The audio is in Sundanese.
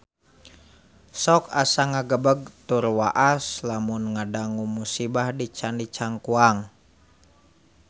Sok asa ngagebeg tur waas lamun ngadangu musibah di Candi Cangkuang